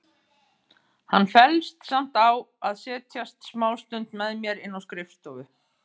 Hann fellst samt á að setjast smástund með mér inn á skrifstofu.